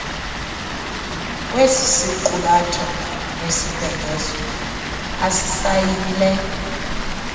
kwesisiqulatho nesibhengezo asisayinileyo